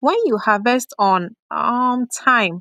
when you harvest on um time